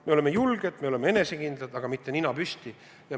Me oleme julged, me oleme enesekindlad, aga mitte nina püsti.